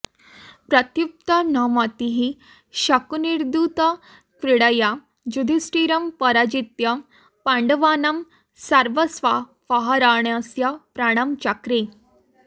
प्रत्युत्पन्नमतिः शकुनिर्दूतक्रीडया युधिष्ठिरं पराजित्य पाण्डवानां सर्वस्वापहरणस्य प्रणं चक्रे